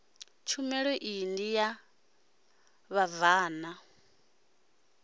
tshumelo iyi ndi ya vhabvann